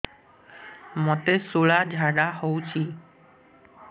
ମୋତେ ଶୂଳା ଝାଡ଼ା ହଉଚି